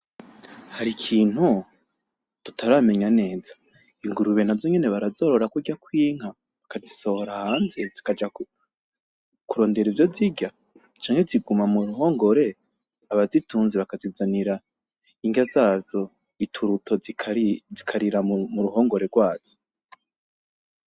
Hari ikintu tutaramenya neza, Ingurube nazo nyene barazorora kurya kw'inka bakazisohora hanze zikaja kurondera ivyo zirya? Canke ziguma muruhongore abazitunze bakazizanira inrya zazo ituruto zikarira muruhongore rwazo? .